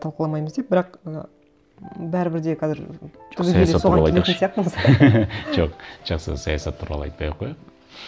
талқыламаймыз деп бірақ ыыы бәрібір де қазір түбегейлі соған келетін сияқтымыз жоқ жақсы саясат туралы айтпай ақ қояйық